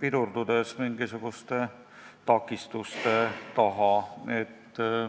pidurdudes mingisuguste takistuste taha.